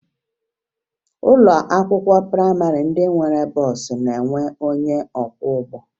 Ụlọ akwụkwọ prayịmarị ndị nwere bọọsụ na-enwe onye ọkwọụgbọ